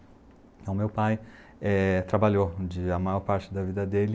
Então meu pai eh trabalhou de a maior parte da vida dele.